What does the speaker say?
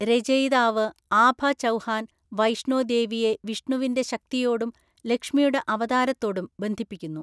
രചയിതാവ് ആഭ ചൗഹാൻ വൈഷ്ണോ ദേവിയെ വിഷ്ണുവിന്റെ ശക്തിയോടും ലക്ഷ്മിയുടെ അവതാരത്തോടും ബന്ധിപ്പിക്കുന്നു.